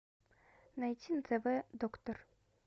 найти на тв доктор